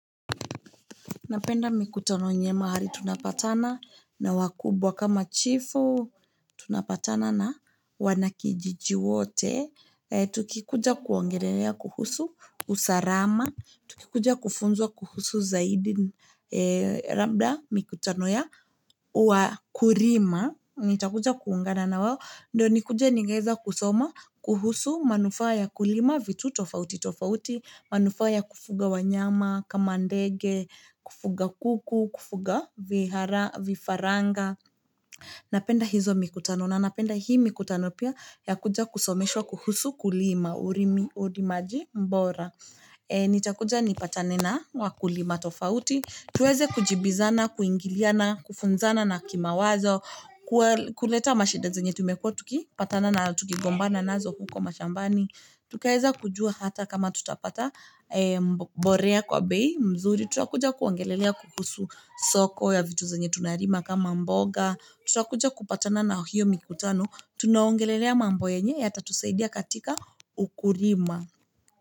Napenda mikutano yenye mahali tunapatana na wakubwa kama chifu. Tunapatana na wana kijiji wote. Tukikuja kuongelea kuhusu, usalama. Tukikuja kufunzwa kuhusu zaidi. Labda mikutano ya wakulima. Nitakuja kuungana na wao. Ndio nikuja ningeweza kusoma kuhusu, manufaa ya kulima, vitu tofauti tofauti. Manufaa kufuga wanyama, kama ndege, kufuga kuku, kufuga vifaranga. Napenda hizo mikutano, na napenda hii mikutano pia ya kuja kusomeshwa kuhusu kulima, urimi. Ukulima bora. Nitakuja nipatanena na wakulima tofauti. Tuweze kujibizana, kuhingiliana, kufunzana na kimawazo, kuleta mashida zenye tumekuwa tukipatana nazo, tukigombana nazo huko mashambani. Tukaweza kujua hata kama tutapata, mbolea kwa bei, mzuri. Tutakuja kuongelelea kuhusu soko ya vitu zenye tunalima kama mboga. Tutakuja kupatana na hiyo mikutano. Tunaongelelea mambo yenye yatatusaidi katika ukulima.